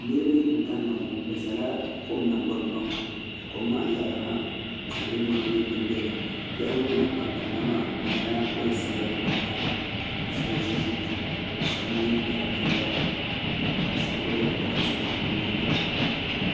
niraba n kanna ŋɔ bi ʒɛla kom nanagbani kpaŋa ka kom maa yaɣali ha tihi ni mori nyɛ din biɛni yaɣali ŋɔ na ban kanna maa bi nyɛla gbansabila ni gbanpiɛla shab ʒi ʒili shab mii nyaɣa binyɛra ka shab gbubila bokati nim bi nuhuni